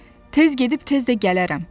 Tez gedib tez də gələrəm.